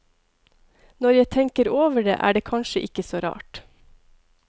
Når jeg tenker over det, er det kanskje ikke så rart.